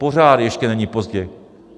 Pořád ještě není pozdě.